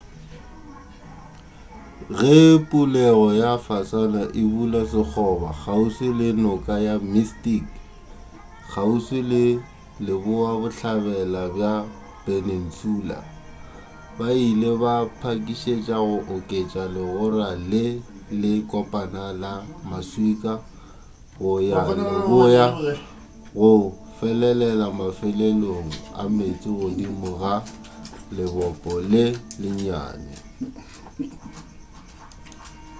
ge pulego ya fasana e bula sekgoba kgauswi le noka ya mystic kgauswi le leboabohlabela bja peninsula ba ile ba pakišetše go oketša legora le le kopana la maswika go ya leboa go felelela mafelelong ameetse godimo ga lebopo le lennyane